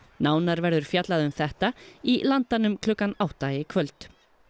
nánar verður fjallað um þetta í Landanum klukkan átta í kvöld